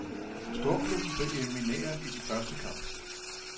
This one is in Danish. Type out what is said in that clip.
Storklubben blev elimineret i den første kamp.